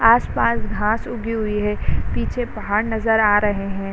आस पास घास उगी हुई हे | पीछे पहाड़ नज़र आ रहे हैं |